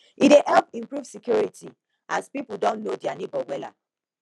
e dey help improve security as pipo don know dia neibor wella